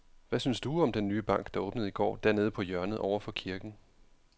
Hvad synes du om den nye bank, der åbnede i går dernede på hjørnet over for kirken?